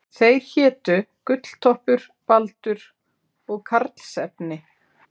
Þeir hétu Gulltoppur, Baldur og Karlsefni.